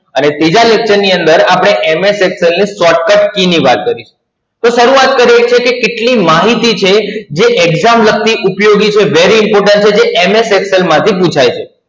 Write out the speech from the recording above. અને ત્રીજા lecture ની અંદર આપણે MS Excel ની Shortcut Key ની વાત કરીશું, તો શરૂઆત કરીએ છીએ કે કેટલી માહિતી છે જે Exam વખતે ઉપયોગી કે very important હોય છે MS Excel માંથી પૂછાય છે.